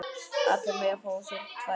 Allir mega fá sér tvær.